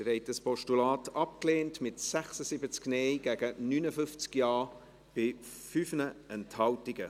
Sie haben dieses Postulat abgelehnt, mit 76 Nein- gegen 59 Ja-Stimmen bei 5 Enthaltungen.